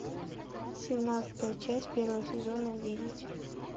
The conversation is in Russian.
семнадцатая часть первого сезона видеть